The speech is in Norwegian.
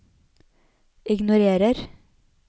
ignorer